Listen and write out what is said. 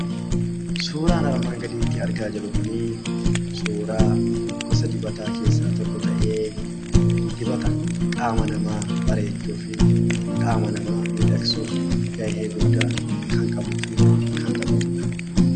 Suuraan armaan gadiitti argaa jirru Kunii, suuraa gosa dibataa keessaa tokko ta'ee dibata qaama namaa bareechuu fi qaama namaa miidhagsuuf gahee kan qabuu fi kan taphatudha.